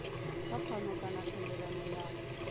kha pfano kana thendelano ya